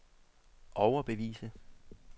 overbevise